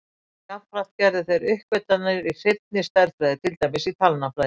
Jafnframt gerðu þeir uppgötvanir í hreinni stærðfræði, til dæmis í talnafræði.